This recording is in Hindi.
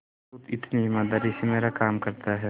जो इतनी ईमानदारी से मेरा काम करता है